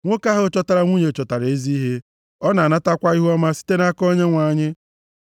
Nwoke ahụ chọtara nwunye chọtara ezi ihe. Ọ na-anatakwa ihuọma site nʼaka Onyenwe anyị.